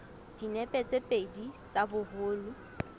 dinepe tse pedi tsa boholo